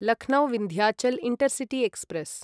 Lucknow Vindhyachal intercity express